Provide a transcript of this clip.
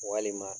Walima